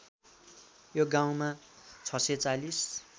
यो गाउँमा ६४०